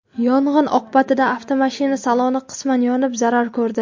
Yong‘in oqibatida avtomashina saloni qisman yonib, zarar ko‘rdi.